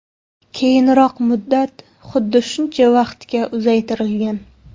Keyinroq muddat xuddi shuncha vaqtga uzaytirilgan.